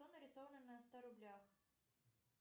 что нарисовано на ста рублях